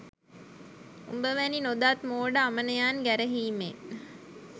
උඹ වැනි නොදත් මෝඩ අමනයන් ගැරහීමෙන්